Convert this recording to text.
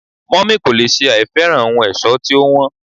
mummy kò lè sẹ àìfẹ́ràn ohun ẹ̀ṣọ́ tí ó wón